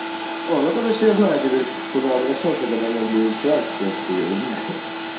о ну короче я знаю теперь куда обращаться когда мне будет совсем хуевенько